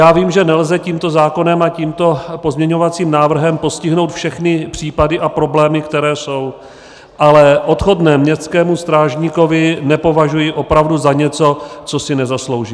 Já vím, že nelze tímto zákonem a tímto pozměňovacím návrhem postihnout všechny případy a problémy, které jsou, ale odchodné městskému strážníkovi nepovažuji opravdu za něco, co si nezaslouží.